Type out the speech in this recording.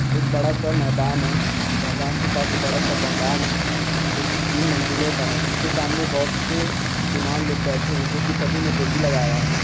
एक बड़ा सा मैदान है मैदान के पास एक बड़ा सा ब- मकान है जो कि तीन मंजिलें का है उसके सामने बहुत से मुसलमान लोग बैठे है जो कि सभी ने टोपी लगाया है।